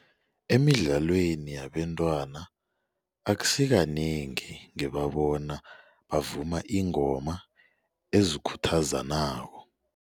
Emidlalweni yabentwana akusikanengi ngibabona bavuma iingoma ezikhuthazanako.